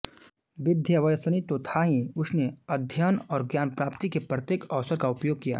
विद्याव्यसनी तो था ही उसने अध्ययन और ज्ञानप्राप्ति के प्रत्येक अवसर का उपयोग किया